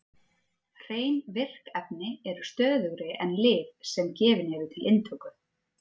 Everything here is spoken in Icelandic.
Hrein virk efni eru stöðugri en lyf sem gefin eru til inntöku.